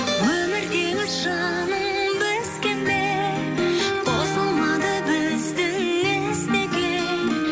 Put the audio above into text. өмір теңіз жаным бізге ме қосылмады біздің із неге